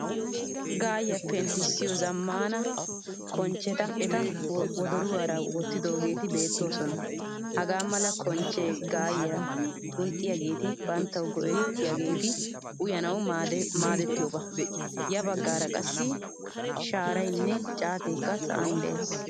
Gayiyaa penttisiyo zammaana konchchetta eta wodoruwaara wottidogetti beetoosona. Hagaa mala konchche gayiyaa xunxxiyagetti banttawu go'ettiyagetti uyanawu maaddettiyoba. Ya baggaara qassi sharaynne caatekka sa'an de'ees.